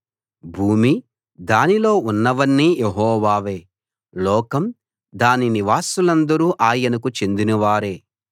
భూమి దానిలో ఉన్నవన్నీ యెహోవావే లోకం దాని నివాసులందరూ ఆయనకు చెందినవారే